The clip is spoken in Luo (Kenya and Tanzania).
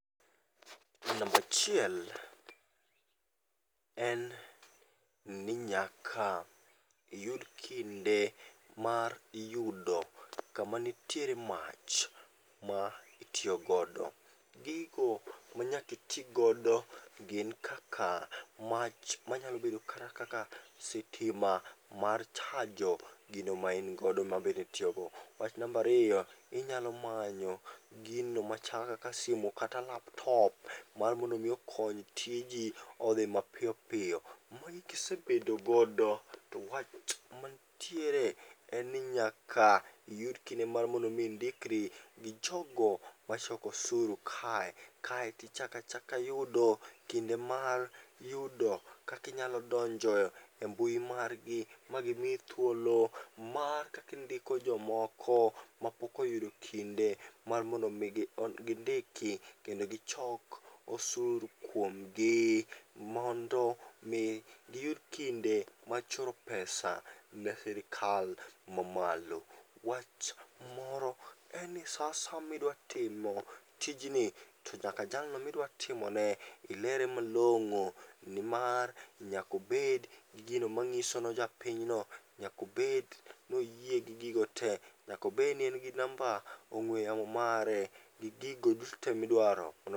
E nambachiel en ni nyaka iyud kinde mar yudo kamanitiere mach ma itiyogodo. Gigo manyakiti godo gin kaka mach manyalo bedo kata kata sitima mar chajo gimain go mabende itiyogo. Wach nambariyo, inyalo manyo gino machalo kak simu kata laptop mar mondo mi okony tiji odhi mapiyo piyo. Magi kisebedo go to wach mantie reen ni nyaka iyud kinde mar mondo mi indikri gi jogo machoko osuru kae, kaeti chakachaka yudo kinde mar yudo kakinyalo donjo e mbui margi ma gimiyi thuolo mar kakindiko jomoko mapok oyudo kinde mar mondo mi gindiki kendo gichok osuru kuom gi. Mondo mi giyud kinde mar choro pesa ne sirikal mamalo. Wach moro en ni sa asaya midwatimo tijni to nyaka jalno midwatimone ilere malong'o ni mar nyakobed gi gino manyiso nojapinyno nyakobed noyie gi gigo te. Nyakobed ni en gi namba ong'we yamo mare gi gigo duto te midwaro mondo mi.